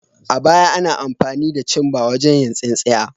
A baya, ana amfani da cimbar wajen yin tsinsinya.